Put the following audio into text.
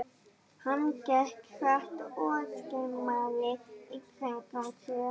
Hann gekk hratt og skimaði í kringum sig.